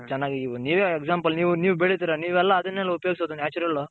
ಹಾ ಚೆನ್ನಾಗಿ ನೀವೆ Example ನೀವ್ ಬೆಳಿತಿರ ನೀವೆಲ್ಲ ಅದನ್ನೇ ಅಲ್ವ ಉಪಯೋಗಿಸೋದು Natural.